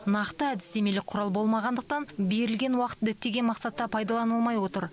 нақты әдістемелік құрал болмағандықтан берілген уақыт діттеген мақсатта пайдаланылмай отыр